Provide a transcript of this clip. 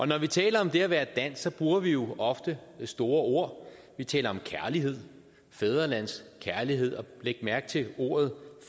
når vi taler om det at være dansk bruger vi jo ofte store ord vi taler om kærlighed fædrelandskærlighed og læg mærke til ordet